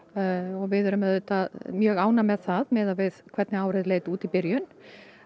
og við erum mjög ánægð með það miðað við hvernig árið leit út í byrjun